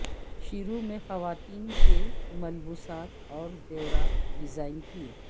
شروع میں خواتین کے ملبوسات اور زیورات ڈیزائن کیے